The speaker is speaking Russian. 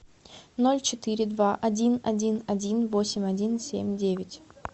ноль четыре два один один один восемь один семь девять